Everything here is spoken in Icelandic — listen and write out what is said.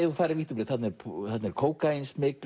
þú farir vítt og breitt þarna er þarna er kókaínsmygl